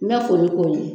N bɛ foli k'o ye